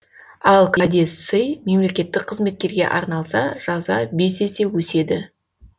ал кәде сый мемлекеттік қызметкерге арналса жаза бес есе өседі